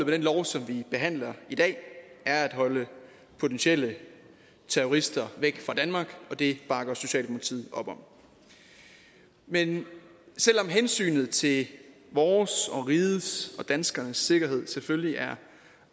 den lov som vi behandler i dag er at holde potentielle terrorister væk fra danmark og det bakker socialdemokratiet op om men selv om hensynet til vores og rigets og danskernes sikkerhed selvfølgelig er